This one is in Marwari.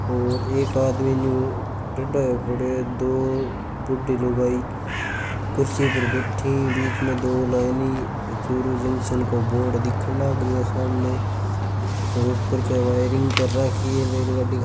और एक आदमी न्यू टेढ़ो होयो खड़ो ए दो बुड्ढी लुगाई कुर्सी पर बेठी बिच में दो लाइन चूरू जंक्शन को बोर्ड दिखे लागरियो ए सामने ओ उपर के वायरिंग कर राखी ए रेलगाड्डी --